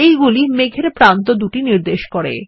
এগুলি মেঘ এর প্রান্তদুটি নির্দেশ করে